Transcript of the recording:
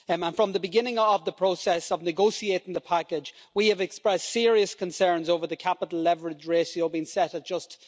From the beginning of the process of negotiating the package, we have expressed serious concerns over the capital leverage ratio being set at just